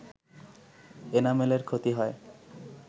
এনামেলের ক্ষতি হয়